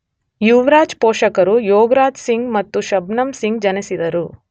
ಯುವರಾಜ್ ಪೋಷಕರು ಯೋಗರಾಜ್ ಸಿಂಗ್ ಮತ್ತು ಶಬ್ನಮ್ ಸಿಂಗ್ ಜನಿಸಿದರು.